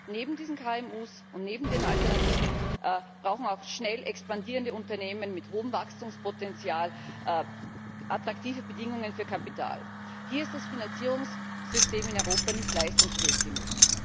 Neben diesen KMU und neben den Alternativen brauchen auch schnell expandierende Unternehmen mit hohem Wachstumspotenzial attraktive Bedingungen für Kapital. Hier ist das Finanzierungssystem in Europa nicht leistungsfähig genug.